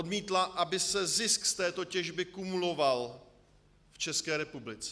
Odmítla, aby se zisk z této těžby kumuloval v České republice.